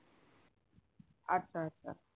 আচ্ছা আচ্ছা